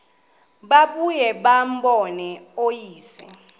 babuye bambone uyise